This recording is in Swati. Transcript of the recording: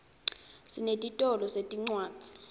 sinetitolo setincwadzi